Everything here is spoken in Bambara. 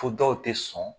Fo dɔw tɛ sɔn